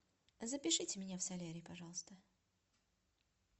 запишите меня в солярий пожалуйста